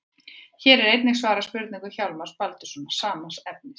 Hér er einnig svarað spurningu Hjálmars Baldurssonar, sama efnis.